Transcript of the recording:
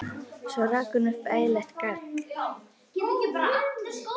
Svo rak hún upp ægilegt garg.